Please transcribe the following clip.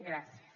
gràcies